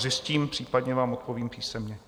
Zjistím, případně vám odpovím písemně.